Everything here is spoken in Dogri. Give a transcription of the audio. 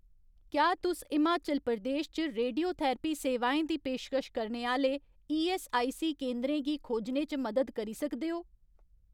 क्या तुस हिमाचल प्रदेश च रेडियोथेरेपी सेवाएं दी पेशकश करने आह्‌ले ईऐस्सआईसी केंदरें गी खोजने च मदद करी सकदे ओ ?